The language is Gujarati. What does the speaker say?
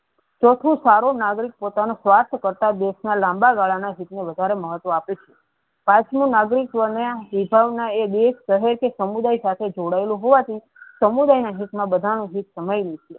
ચૌથું સારું નાગરિક પોતાનું સ્વસ્થ કરતા દેશ ના લાંબા ગળા ના હિત ને વધારે મહત્વ આપે છે પાંચમું નાગરિકો ને વિભાગ ના એ બે કહે છે કે સમુદાય સાથે જોડાયેલું હોવા હોવા થી સમુદાય ના હિત મા બધા નું હિત સમાવેલું છે.